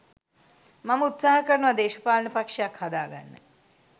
මම උත්සහ කරනවා දේශපාලන පක්‍ෂයක් හදාගන්න